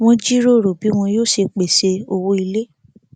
wọn jíròrò bí wọn yóò ṣe pèsè owó ilé